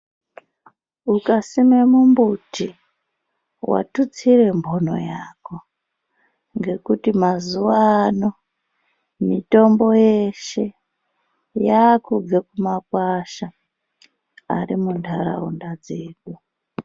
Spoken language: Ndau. Ukasime mumbuti watutsire mhono yako ngekuti mazuwa ano mitombo yeshe yakubve kumakwasha ari munharaunda dzedu.